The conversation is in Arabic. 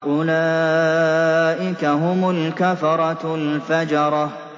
أُولَٰئِكَ هُمُ الْكَفَرَةُ الْفَجَرَةُ